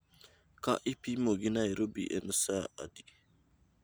Ka ipimo gi nairobi en saa adi